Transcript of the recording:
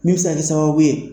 Min bɛ se ka k'i sababu ye.